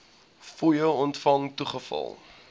fooie ontvang toegeval